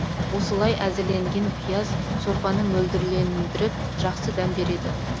осылай әзірленген пияз сорпаны мөлдірлендіріп жақсы дәм береді